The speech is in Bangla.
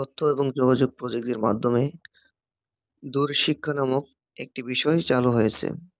দুরশিক্ষা নামক একটি বিষয় চালু হয়েছে